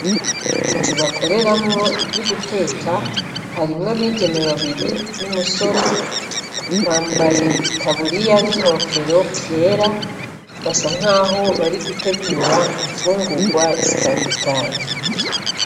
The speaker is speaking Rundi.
Inzu bakoreramwo ivyuguteka harimwo abigeme babiri n'umusore bambaye itaburiya n' inkofero vyera, basa naho bariko baritegura imfungurwa zitandukanye.